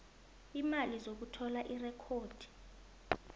iimali zokuthola irekhodi